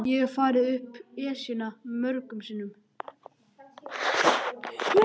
Ég hef farið upp Esjuna mörgum sinnum.